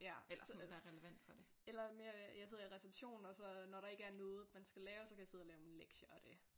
Ja eller sådan. Eller mere jeg sidder i receptionen og så når der ikke er noget man skal lave så kan jeg sidde og lave nogle lektier og det